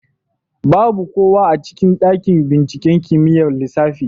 Babu kowa a cikin ɗaƙin binciƙen kimiƴar lissafi.